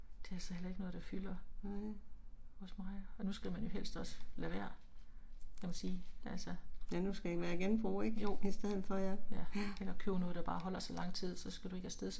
Nej. Ja nu skal det være genbrug ik i stedet for ja ja